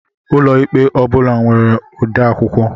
Ụlọikpe ọ bula nwere odeakwụkwọ